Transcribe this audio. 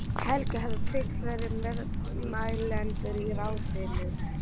Helgi hefur tryggt fleiri meðmælendur í ráðinu.